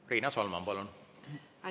Riina Solman, palun!